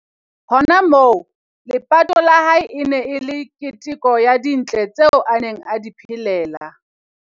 Hona moo, lepato la hae e ne e le keteko ya dintle tseo a neng a di phelela.